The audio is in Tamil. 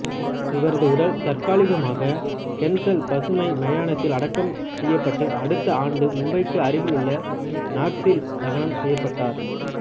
இவரது உடல் தற்காலிகமாக கென்சல் பசுமை மயானத்தில் அடக்கம் செய்யப்பட்டு அடுத்த ஆண்டு மும்பைக்கு அருகிலுள்ள நாசிக்கில் தகனம் செய்யப்பட்டார்